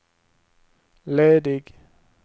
ledig